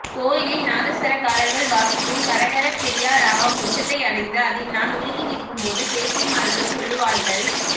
கோயிலில் நாதஸ்வரக்காரர்கள் வாசிக்கும் கரகரப்பிரியா ராகம் உச்சத்தை அடைந்து அதில் நான் உருகி நிற்கும் போது பேத்திமார்கள் சொல்லுவாள்கள்